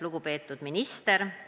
Lugupeetud minister!